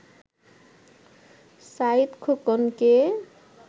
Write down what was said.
Saeed খোকনকে